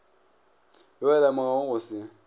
yo a lemogago go se